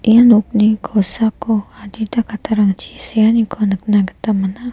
ia nokni kosako adita kattarangchi se·aniko nikna gita man·a.